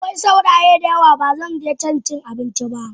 Akwai sauraye dayawa bazaje can inci abinci ba.